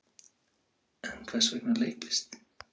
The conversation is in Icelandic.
En hvers vegna leiklist?